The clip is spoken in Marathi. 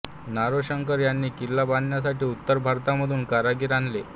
नारोशंकर यांनी किल्ला बांधण्यासाठी उत्तर भारतामधून कारागीर आणले